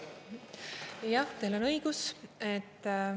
Jah, teil on õigus.